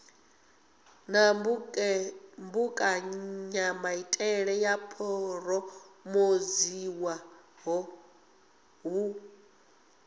na mbekanyamaitele yo phurophoziwaho hu